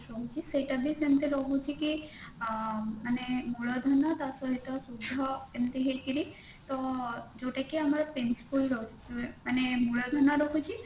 ରହୁଛି ସେଇଟା ବି ସେମତି ରହୁଛି କି ଆଁ ମାନେ ମୂଳଧନ ତାପରେ ଏଇଟା ସୁଧ ଏମତି ହେଇକିରି ତ ଯୋଉଟା କି ଆମର principle ରହୁଛି ମାନେ ମୂଳଧନ ରହୁଛି